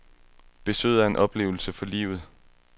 Besøget er en oplevelse for livet.